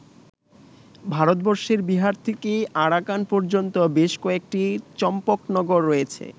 ভারতবর্ষের বিহার থেকে আরাকান পর্যন্ত বেশ কয়েকটি চম্পকনগর রয়েছে।